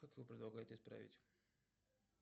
как вы предлагаете исправить